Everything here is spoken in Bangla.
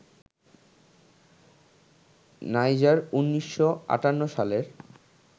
নাইজার ১৯৫৮ সালের